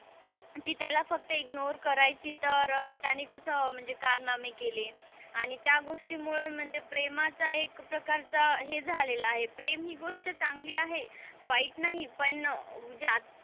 ती त्याला फक्त इग्नोर करायची तर त्याने कस म्हणजे कारनामे केले आणि त्या गोष्टीमुळे म्हणजे प्रेमाचा एक प्रकारचा हे झालेला आहे प्रेम हे गोष्ट चांगली आहे वाईट नाही पण जे,